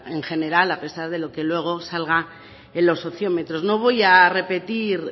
en general a pesar de lo que luego salga en los sociómetros no voy a repetir